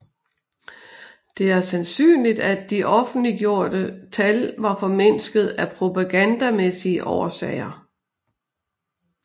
Det er sandsynligt at de offentliggjorte tal var formindsket af propagandamæssige årsager